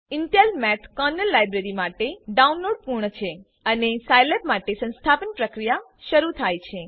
Intel math kernel library માટે download પૂર્ણ છે અને સાઈલેબ માટે સંસ્થાપન પ્રક્રિયા શરૂ થાય છે